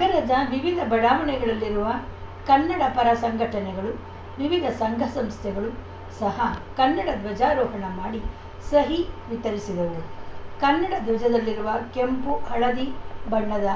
ನಗರದ ವಿವಿಧ ಬಡಾವಣೆಗಳಲ್ಲಿರುವ ಕನ್ನಡ ಪರ ಸಂಘಟನೆಗಳು ವಿವಿಧ ಸಂಘಸಂಸ್ಥೆಗಳು ಸಹ ಕನ್ನಡ ಧ್ವಜಾರೋಹಣ ಮಾಡಿ ಸಹಿ ವಿತರಿಸಿದವು ಕನ್ನಡ ಧ್ವಜದಲ್ಲಿರುವ ಕೆಂಪು ಹಳದಿ ಬಣ್ಣದ